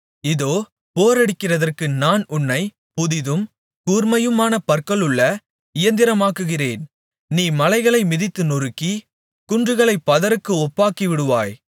இதோ போரடிக்கிறதற்கு நான் உன்னைப் புதிதும் கூர்மையுமான பற்களுள்ள இயந்தரமாக்குகிறேன் நீ மலைகளை மிதித்து நொறுக்கி குன்றுகளைப் பதருக்கு ஒப்பாக்கிவிடுவாய்